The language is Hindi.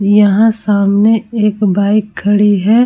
यहाँ सामने एक बाइक खड़ी है ।